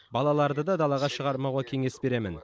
балаларды да далаға шығармауға кеңес беремін